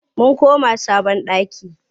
Mun koma sabon ɗaki.